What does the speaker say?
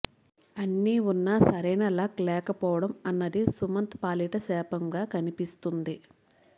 అన్నీ వున్నా సరైన లక్ లేకపోవడం అన్నది సుమంత్ పాలిట శాపంగా కనిపిస్తుంది